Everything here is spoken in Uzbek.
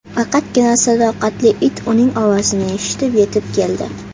Faqatgina sadoqatli it uning ovozini eshitib, yetib keldi.